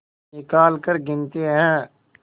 निकालकर गिनते हैं